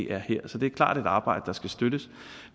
er her så det er klart et arbejde der skal støttes